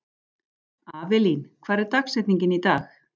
Avelín, hver er dagsetningin í dag?